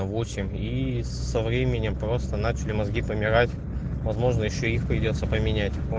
восемь и со временем просто начали мозги помирать возможно ещё их придётся поменять